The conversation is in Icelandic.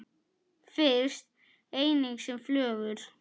Finnst einnig sem flögur.